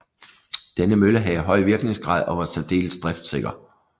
Denne mølle havde høj virkningsgrad og var særdeles driftsikker